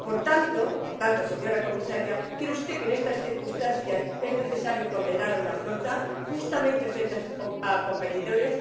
Por tanto, señora Comisaria, ¿cree usted que, en estas circunstancias, es necesario condenar a una flota, justamente frente a los competidores?